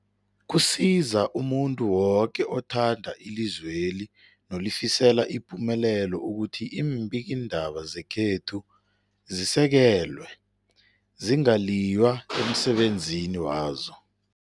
Kusiza umuntu woke othanda ilizweli nolifisela ipumelelo ukuthi iimbikiindaba zekhethu zisekelwe, zingaliywa emsebenzini wazo.